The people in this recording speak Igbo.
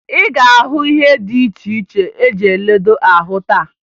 Ị ga-ahụ ihe dị iche iche eji eledo ahụ taa